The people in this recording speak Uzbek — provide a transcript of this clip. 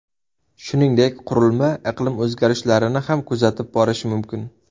Shuningdek, qurilma iqlim o‘zgarishlarini ham kuzatib borishi mumkin.